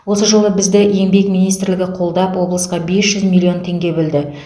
осы жолы бізді еңбек министрлігі қолдап облысқа бес жүз миллион теңге бөлді